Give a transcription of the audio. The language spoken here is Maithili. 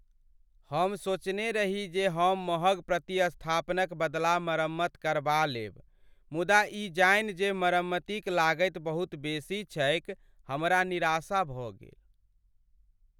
हम सोचने रही जे हम महग प्रतिस्थापनक बदला मरम्मत करबा लेब, मुदा ई जानि जे मरम्मतिक लागति बहुत बेसी छैक, हमरा निराशा भऽ गेल।